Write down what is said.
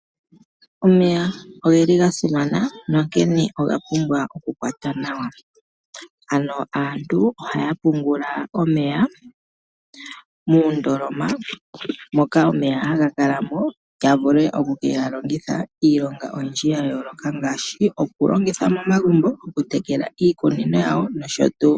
Omeya ongeli ga simana nokene ongapumbwa oku kwatwa nawa, ano aantu oha yapungula omeya muundoloma moka omeya ha nga kalamo yavule oku kengalongitha iilonga oyindji ya yoloka ngashi oku longitha momagumbo oku tekela iikunino yawo nosho tu.